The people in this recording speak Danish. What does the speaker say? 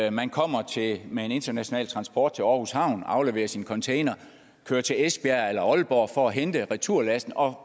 at man kommer med en international transport til aarhus havn afleverer sin container kører til esbjerg eller aalborg for at hente returlasten og